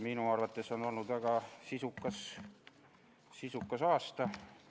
Minu arvates on olnud väga sisukas aasta.